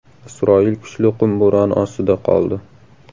Isroil kuchli qum bo‘roni ostida qoldi .